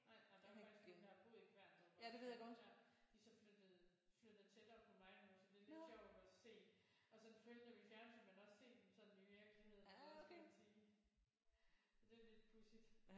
Nej men der er faktisk nogle der har boet i Kværndrup de er så flyttet flyttet tættere på mig nu så det er lidt sjovt og se og så følge dem i fjernsynet men også sådan se dem sådan i virkeligheden eller hvad skal man sige sige det er lidt pudsigt